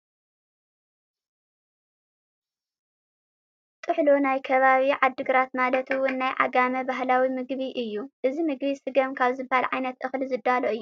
ጥሕሎ ናይ ከባቢ ዓድግራት ማለት እውን ናይ ዓጋመ ባህላዊ ምግቢ እዩ፡፡ እዚ ምግቢ ስገም ካብ ዝበሃል ዓይነት እኽሊ ዝዳሎ እዩ፡፡